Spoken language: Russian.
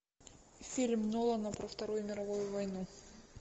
фильм нолана про вторую мировую войну